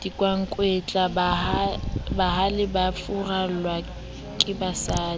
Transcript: dikwankwetla bahale ba furallwa kebasadi